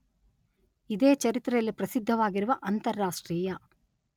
ಇದೇ ಚರಿತ್ರೆಯಲ್ಲಿ ಪ್ರಸಿದ್ಧವಾಗಿರುವ ಅಂತಾರಾಷ್ಟ್ರೀಯ .